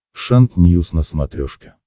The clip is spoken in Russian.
шант ньюс на смотрешке